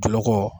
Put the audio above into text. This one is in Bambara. Jinɛ ko